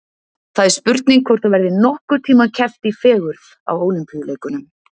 Það er spurning hvort það verði nokkurn tíma keppt í fegurð á Ólympíuleikunum.